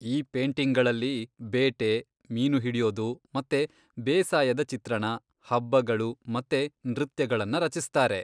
ಈ ಪೇಂಟಿಂಗ್ಗಳಲ್ಲಿ ಬೇಟೆ, ಮೀನು ಹಿಡಿಯೋದು ಮತ್ತೆ ಬೇಸಾಯದ ಚಿತ್ರಣ, ಹಬ್ಬಗಳು ಮತ್ತೆ ನೃತ್ಯಗಳನ್ನ ರಚಿಸ್ತಾರೆ.